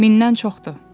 Mindən çoxdur.